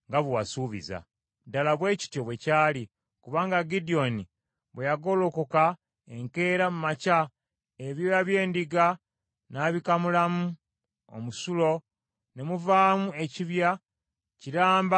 Ddala bwe kityo bwe kyali; kubanga Gidyoni bwe yagolokoka enkeera mu makya ebyoya by’endiga n’abikamulamu omusulo ne muvaamu ekibya kiramba eky’amazzi.